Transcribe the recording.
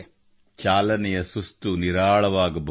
ಚಾಲನೆಯ ಸುಸ್ತು ನಿರಾಳವಾಗಬಹುದು